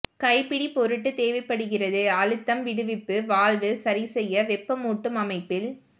கைப்பிடி பொருட்டு தேவைப்படுகிறது அழுத்தம் விடுவிப்பு வால்வு சரிசெய்ய வெப்பமூட்டும் அமைப்பில்